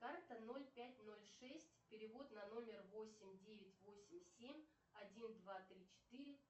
карта ноль пять ноль шесть перевод на номер восемь девять восемь семь один два три четыре